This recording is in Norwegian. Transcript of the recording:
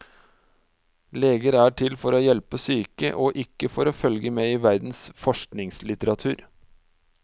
Leger er til for å hjelpe syke, ikke for å følge med i verdens forskningslitteratur.